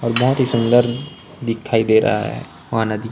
और बहुत ही सुन्दर दिखाई दे रहा है वो नदी--